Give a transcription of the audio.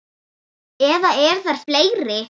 Eða eru þær fleiri?